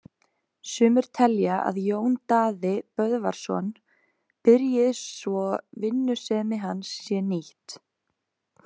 Sumir telja að Jón Daði Böðvarsson byrji svo vinnusemi hans sé nýtt.